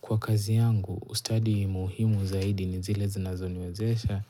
Kwa kazi yangu, ustadi muhimu zaidi ni zile zinazoniwezesha